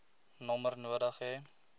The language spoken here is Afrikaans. nommer nodig hê